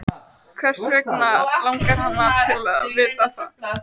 Pálmi var lifandi í hugsjón sinni og góður bindindismaður.